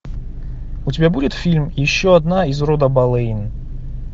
у тебя будет фильм еще одна из рода болейн